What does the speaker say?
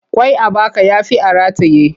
Ƙwai a baka ya fi a rataye.